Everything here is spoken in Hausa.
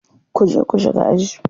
Ku je ku shiga aji.